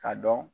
K'a dɔn